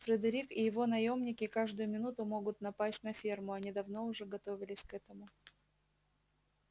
фредерик и его наёмники каждую минуту могут напасть на ферму они давно уже готовились к этому